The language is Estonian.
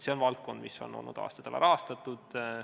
See on valdkond, mis on olnud aastaid alarahastatud.